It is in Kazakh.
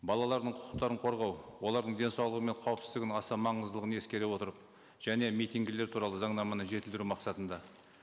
балалардың құқықтарын қорғау олардың денсаулығы мен қауіпсіздігінің аса маңыздылығын ескере отырып және митингілер туралы заңнаманы жетілдіру мақсатында